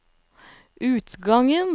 utgangen